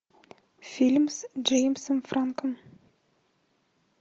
фильм с джеймсом франком